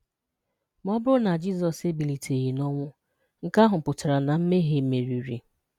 Ma ọ bụrụ na Jizọs ebiliteghi n'ọnwụ, nke ahụ pụtaranu na mmehie merịrị.